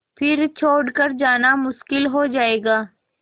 फिर छोड़ कर जाना मुश्किल हो जाएगा